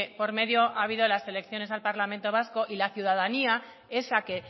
por medio ha habido las elecciones al parlamento vasco y la ciudadanía esa que